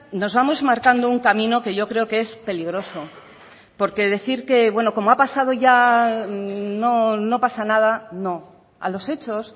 nos vamos marcando un camino que yo creo que es peligroso porque decir que bueno como ha pasado ya no pasa nada no a los hechos